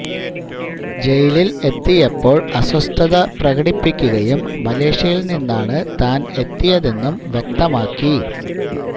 ജയിലില് എത്തിയപ്പോള് അസ്വസ്ഥത പ്രകടിപ്പിക്കുകയും മലേഷ്യയില് നിന്നാണ് താന് എത്തിയതെന്നും വ്യക്തമാക്കി